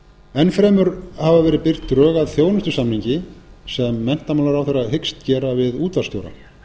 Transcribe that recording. fremur hafa verið birt drög að þjónustusamningi sem menntamálaráðherra hyggst gera við útvarpsstjóra